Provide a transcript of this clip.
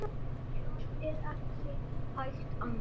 Það er ekki hægt annað.